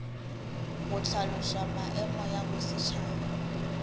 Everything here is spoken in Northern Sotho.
go hlaloša maemo ya bosetšhaba